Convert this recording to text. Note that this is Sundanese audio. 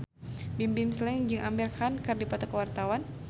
Bimbim Slank jeung Amir Khan keur dipoto ku wartawan